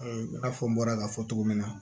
i n'a fɔ n bɔra k'a fɔ cogo min na